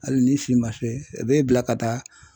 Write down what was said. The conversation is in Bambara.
Hali n'i si man se e bɛ bila ka taa.